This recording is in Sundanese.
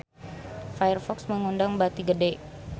Firefox meunang bati gede